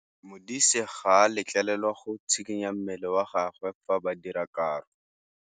Modise ga a letlelelwa go tshikinya mmele wa gagwe fa ba dira karô.